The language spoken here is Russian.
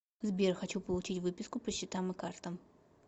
сбер хочу получить выписку по счетам и картам